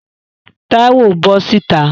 Táíwò, bọ́ sìta!